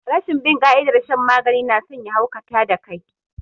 Rashin bin ƙa'idar shan magani nason ya haukata da kai